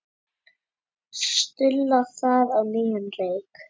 Stulla það á nýjan leik.